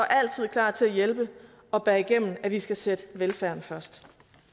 klar til hjælpe og bære igennem at vi skal sætte velfærden først